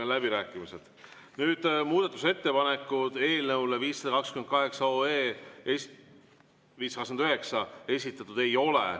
Nüüd, muudatusettepanekuid eelnõu 529 kohta esitatud ei ole.